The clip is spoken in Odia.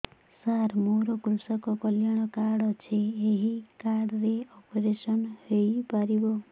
ସାର ମୋର କୃଷକ କଲ୍ୟାଣ କାର୍ଡ ଅଛି ଏହି କାର୍ଡ ରେ ଅପେରସନ ହେଇପାରିବ